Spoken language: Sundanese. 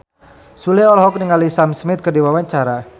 Sule olohok ningali Sam Smith keur diwawancara